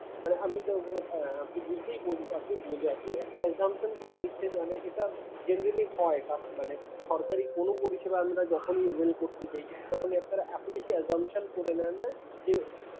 মানে আমি তো হ্যাঁ আপনি বুঝতেই~ আপনি বোঝা আপনি একটা assumption করে নিচ্ছেন মানে এটা generally হয়। আহ সরকারি কোনো পরিষেবা আমরা যখনি avail করতে যাই তখনই আপনারা এত বেশি assumption করে নেন না যে